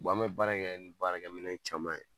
an mɛ baara in kɛ ni baarakɛ minɛn caman ye